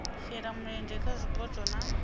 shela mulenzhe kha zwipotso na